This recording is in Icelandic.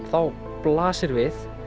blasir við